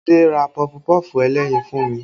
Adé ra pọfupọ́ọ̀fù ẹlẹ́yin fún mi